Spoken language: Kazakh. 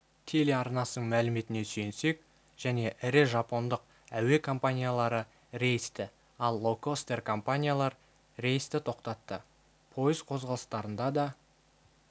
телеарнасының мәліметіне сүйенсек және ірі жапондық әуе компаниялары рейсті ал лоукостер-компаниялар рейсті тоқтатты пойыз қозғалыстарында да